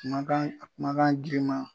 Kumakan kumakan giriman